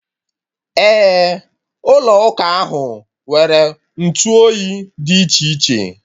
Ee, ụlọ ụka ahụ nwere ntụoyi dị iche iche